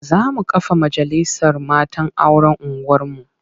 Za mu kafa majalisar matan auren unguwarmu.